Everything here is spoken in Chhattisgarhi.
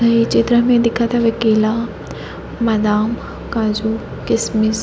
ये चित्र मे दिखत हवे केला बादाम काजू किसमिस--